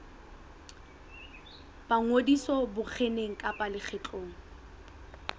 ba ngodiso mokgeng kapa lekgotleng